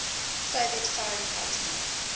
soviet foreign policy